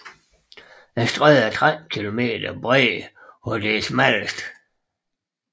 Strædet er 13 km bredt hvor det er smallest